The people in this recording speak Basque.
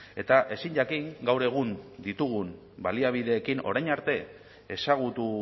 eta ezin jakin gaur egun ditugun baliabideekin orain arte ezagutu